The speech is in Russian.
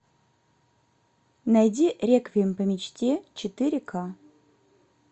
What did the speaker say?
найди реквием по мечте четыре к